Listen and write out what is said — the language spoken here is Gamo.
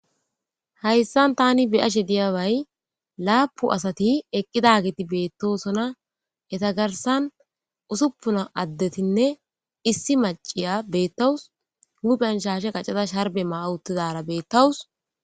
hayssan tani bi7ashe diyabay laapu asati eqqidagiti beettosona heta garsan usuppuna addetinne issi maciya beettawus hupen shashe qaccada sharbe mauttidara beettawus